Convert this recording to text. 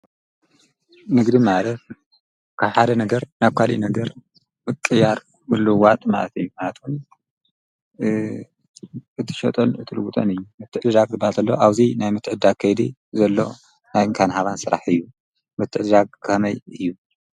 ንግዲ ማለት ካብ ሓደ ነገር ናብ ኳልእ ነገር ምቅይያር መልውዋጥ ማእት እዩ፡፡ ማለት እትሸጦን እትልዉጦን እዩ፡፡ ምትዕድዳግ ዝባሃል ዘሎ ኣብዙይ ናይ ንአካን ሃባን ስራሕ እዩ፡፡ ምትዕድዳግ ከመይ እዩ?